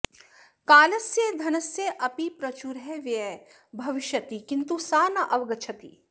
कालस्य धनस्य अपि प्रचुरः व्ययः भविष्यति किन्तु सा न अवगच्छति